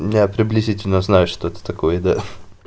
я приблизительно знаю что это такое да